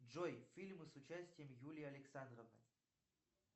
джой фильмы с участием юлии александровой